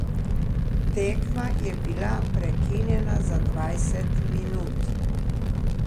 Tekma je bila prekinjena za dvajset minut.